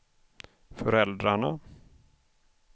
föräldrarna